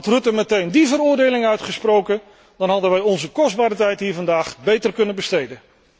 Had Rutte meteen die veroordeling uitgesproken, dan hadden wij onze kostbare tijd hier vandaag beter kunnen besteden.